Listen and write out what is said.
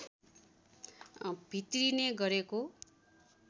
भित्रिने गरेको